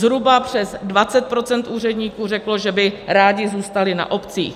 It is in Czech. Zhruba přes 20% úředníků řeklo, že by rádi zůstali na obcích.